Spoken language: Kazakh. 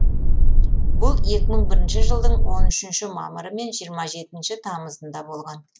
бұл екі мың бірінші жылдың он үшінші мамыры мен жиырма жетінші тамызында болған